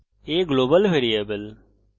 a একটি global variable